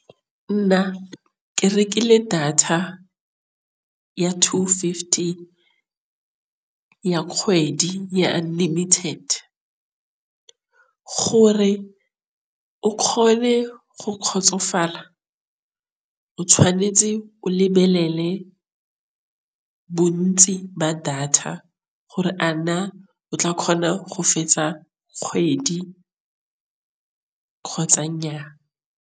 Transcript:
Nna ke rekile data ya two fifty ya kgwedi ya unlimited, gore o kgone go kgotsofala. O tshwanetse o lebelele bontsi ba data gore a na o tla kgona go fetsa kgwedi kgotsa nyaa.